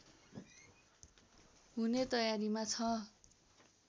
हुने तयारीमा छ